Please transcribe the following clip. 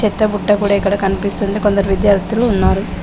పెద్ద బుట్ట కూడ ఇక్కడ కనిపిస్తుంది కొందరు విద్యార్థులు ఉన్నారు.